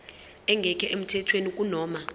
engekho emthethweni kunoma